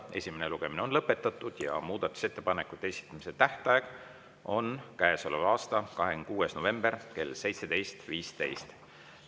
Esimene lugemine on lõpetatud ja muudatusettepanekute esitamise tähtaeg on käesoleva aasta 26. november kell 17.15.